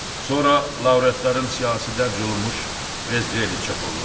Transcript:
Sonra laureatların siyahısı dərc olunmuş, prezdrellər çap olunacaq.